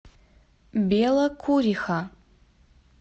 белокуриха